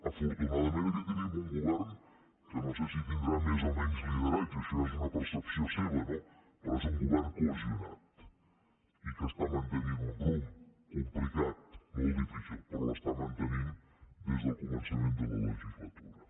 afortunadament aquí tenim un govern que no sé si tindrà més o menys lideratge això ja és una percepció seva no però és un govern cohesionat i que està mantenint un rumb complicat molt difícil però l’està mantenint des del començament de la legislatura